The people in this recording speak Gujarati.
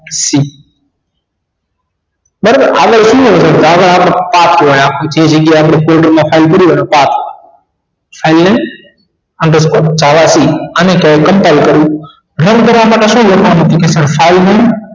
બરાબર આગળ આપની જે જગ્યા આપની portal મા file કરી હોય એનો કાપ file ને આગળ થી અને compoble કરવું run કરવા માટે શું લખવાનું તો કે file name